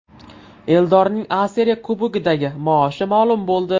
Eldorning A Seriya klubidagi maoshi ma’lum bo‘ldi.